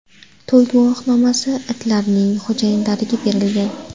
To‘y guvohnomasi itlarning xo‘jayinlariga berilgan.